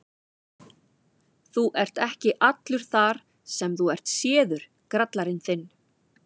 Þú ert ekki allur þar sem þú ert séður, grallarinn þinn!